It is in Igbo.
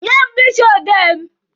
Nye m mkpịsị odee mụ!